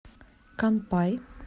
канпай